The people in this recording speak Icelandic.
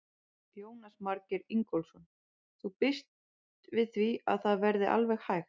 Jónas Margeir Ingólfsson: Þú býst við því að það verði alveg hægt?